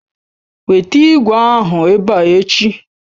Weta ìgwè ahụ ebe a echi!